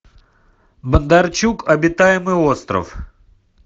бондарчук обитаемый остров